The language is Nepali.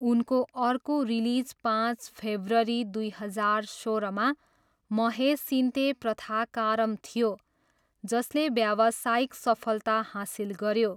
उनको अर्को रिलिज पाँच फेब्रुअरी दुई हजार सोह्रमा महेसिन्ते प्रथाकारम थियो, जसले व्यावसायिक सफलता हासिल गऱ्यो।